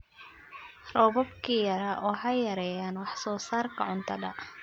Roobabkii yaraa waxay yareeyaan wax soo saarka cuntada.